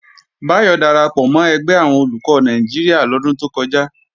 Báyọ̀ darapọ̀ mọ́ ẹgbẹ́ àwọn Olùkọ́ Nàìjíríà lọ́dún tó kọjá